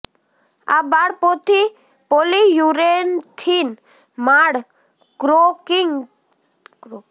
આ બાળપોથી પોલીયુરેથીન માળ કોંક્રિટ પાયા પર ઉપયોગ માટે ડિઝાઇન કરી હતી